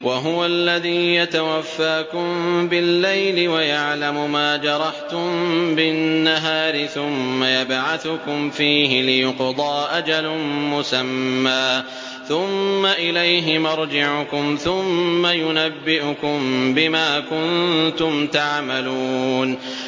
وَهُوَ الَّذِي يَتَوَفَّاكُم بِاللَّيْلِ وَيَعْلَمُ مَا جَرَحْتُم بِالنَّهَارِ ثُمَّ يَبْعَثُكُمْ فِيهِ لِيُقْضَىٰ أَجَلٌ مُّسَمًّى ۖ ثُمَّ إِلَيْهِ مَرْجِعُكُمْ ثُمَّ يُنَبِّئُكُم بِمَا كُنتُمْ تَعْمَلُونَ